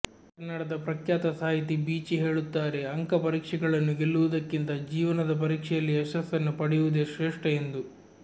ಕನ್ನಡದ ಪ್ರಖ್ಯಾತ ಸಾಹಿತಿ ಬೀಚಿ ಹೇಳುತ್ತಾರೆ ಅಂಕ ಪರೀಕ್ಷೆಗಳನ್ನು ಗೆಲ್ಲುವುದಕ್ಕಿಂತ ಜೀವನದ ಪರೀಕ್ಷೆಯಲ್ಲಿ ಯಶಸ್ಸನ್ನು ಪಡೆಯುವುದೆ ಶ್ರೇಷ್ಠ ಎಂದು